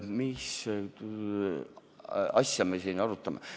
Mis asja me siis arutame?